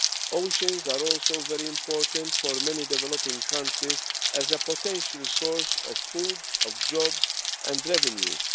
Oceans are also very important for many developing countries as a potential source of food, of jobs and revenue.